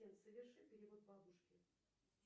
соверши перевод бабушке